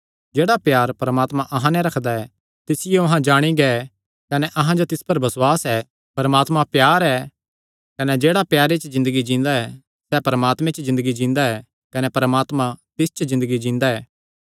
जेह्ड़ा प्यार परमात्मा अहां नैं रखदा ऐ तिसियो अहां जाणी गै कने अहां जो तिस पर बसुआस ऐ परमात्मा प्यार ऐ कने जेह्ड़ा प्यारे च ज़िन्दगी जींदा ऐ सैह़ परमात्मे च ज़िन्दगी जींदा ऐ कने परमात्मा तिस च ज़िन्दगी जींदा ऐ